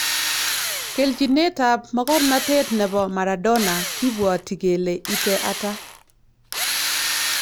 kelchinetab mogornotet nebo Maradona kibwoti kele ite ata?